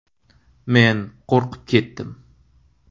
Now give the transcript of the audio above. Men qo‘rqib ketdim.